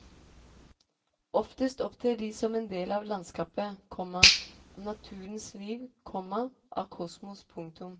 Oftest opptrer de som en del av landskapet, komma av naturens liv, komma av kosmos. punktum